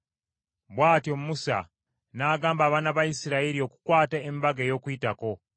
Bw’atyo Musa n’agamba abaana ba Isirayiri okukwata Embaga ey’Okuyitako;